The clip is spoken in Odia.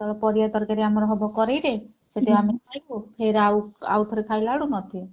ପରିବା ତରକାରୀ ଆମର କଡେଇରେ ସେଥିରେ ଆମେ ଖାଇବୁ ଫେର ଆଉ ଆଉଥରେ ଖାଇଲା ବେଳକୁ ନଥିବ।